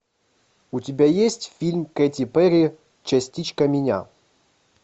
у тебя есть фильм кэти перри частичка меня